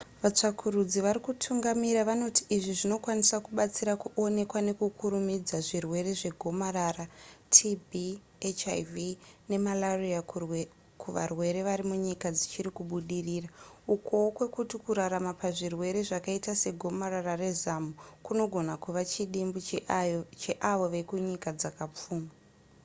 vatsvakurudzi vari kutungamira vanoti izvi zvinokwanisa kubatsira kuonekwa nekukurumidza zvirwere zvegomarara tb hiv nemalaria kuvarwere varimunyika dzichiri kubudirira ukowo kwekuti kurarama pazvirwere zvakaita segomarara rezamu kunogona kuva chidimbu cheavo vekunyika dzakapfuma